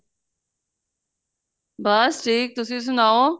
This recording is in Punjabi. ਬੱਸ ਠੀਕ ਤੁਸੀਂ ਸੁਨਾਉ